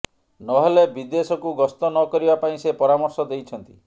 ନ ହେଲେ ବିଦେଶକୁ ଗସ୍ତ ନ କରିବା ପାଇଁ ସେ ପରାମର୍ଶ ଦେଇଛନ୍ତି